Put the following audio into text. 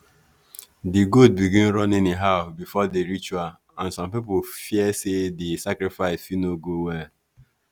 the goat begin run anyhow before the ritual and some people fear say the sacrifice fit no go well.